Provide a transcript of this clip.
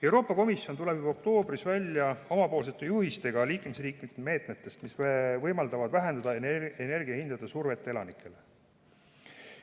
Euroopa Komisjon tuleb juba oktoobris välja oma juhistega liikmesriikide meetmete kohta, mis võimaldavad vähendada energiahindade survet elanikele.